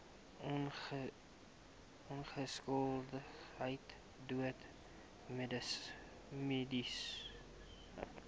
ongeskiktheid dood mediese